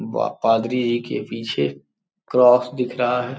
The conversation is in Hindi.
व पादरी जी के पीछे क्रॉस दिख रहा है।